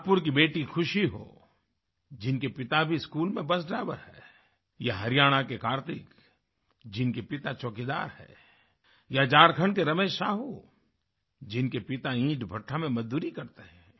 नागपुर की बेटी खुशी हो जिनके पिता भी स्कूल बस में ड्राइवर हैं या हरियाणा के कार्तिक जिनके पिता चौकीदार हैं या झारखण्ड के रमेश साहू जिनके पिता ईंटभट्टा में मजदूरी करते हैं